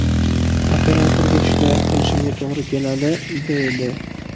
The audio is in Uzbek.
Operatorga shikoyat qilishimga to‘g‘ri keladi”, deydi.